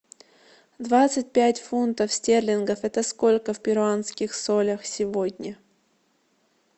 двадцать пять фунтов стерлингов это сколько в перуанских солях сегодня